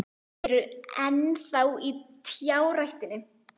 Þið eruð enn þá í trjáræktinni?